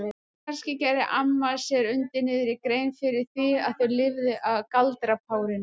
Kannski gerði amma sér undir niðri grein fyrir því að þau lifðu á galdrapárinu?